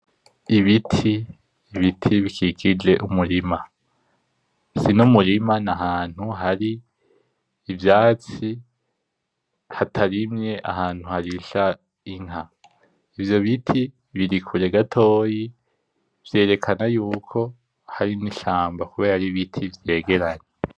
Ibiti, ibiti bikikije umurima. Sinumurima, n’ahantu hari ivyatsi hatarimye, ahantu harisha inka. Ivyo biti birikure gatoyi. Vyerekana yuko hari n'ishamba kubera ari ibiti vyegeranye.